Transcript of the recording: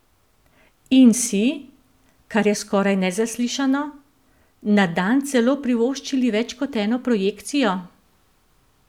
In si, kar je skoraj nezaslišano, na dan celo privoščili več kot eno projekcijo?